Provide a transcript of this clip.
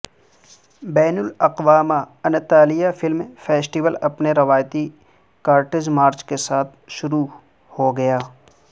بین الاقوامی Antalya film festival اپنے روایتی کارٹیج مارچ کے ساتھ شروع ہو گیا